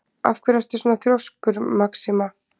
Af hverju ertu svona þrjóskur, Maxima?